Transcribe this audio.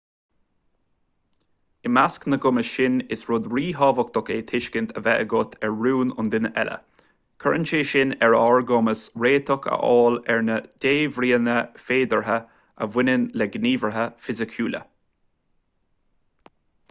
i measc na gcumas sin is rud ríthábhachtach é tuiscint a bheith agat ar rún an duine eile cuireann sé sin ar ár gcumas réiteach a fháil ar na débhríonna féideartha a bhaineann le gníomhartha fisiciúla